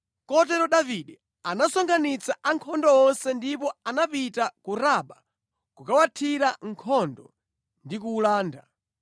Kotero Davide anasonkhanitsa ankhondo onse ndipo anapita ku Raba kukawuthira nkhondo ndi kuwulanda.